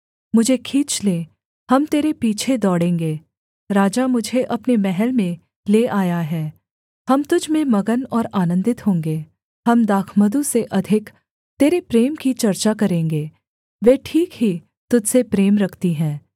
मुझे खींच ले हम तेरे पीछे दौड़ेंगे राजा मुझे अपने महल में ले आया है हम तुझ में मगन और आनन्दित होंगे हम दाखमधु से अधिक तेरे प्रेम की चर्चा करेंगे वे ठीक ही तुझ से प्रेम रखती हैं